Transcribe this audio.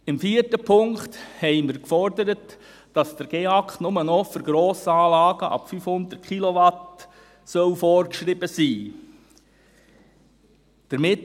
Im vierten Punkt haben wir gefordert, dass der Gebäudeenergieausweis der Kantone (GEAK) nur noch für Grossanlagen ab 500 Kilowatt vorgeschrieben sein soll.